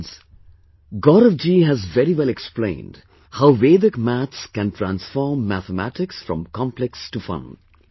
Friends, Gaurav ji has very well explained how Vedic maths can transform mathematicsfrom complex to fun